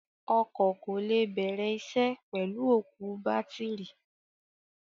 Ọkọ̀ kò lè bẹ̀rẹ̀ isẹ́ pẹ̀lú òkú bátìrì.